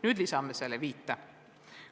Nüüd lisame selle viite.